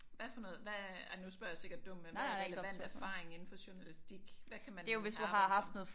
Hvad for noget hvad ej nu spørger jeg sikkert dumt men hvad er relevant erfaring indenfor journalistik? Hvad kan man arbejde som?